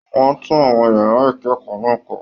Wọn n tún àwọn yàrá ikẹkọọ náà kọ.